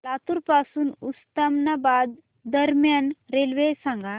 लातूर पासून उस्मानाबाद दरम्यान रेल्वे सांगा